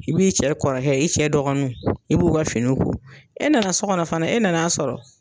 I b'i cɛ kɔrɔkɛ i cɛ dɔgɔninw i b'u ka fini ko e nana sɔ gɔnɔ fana e nan'a sɔrɔ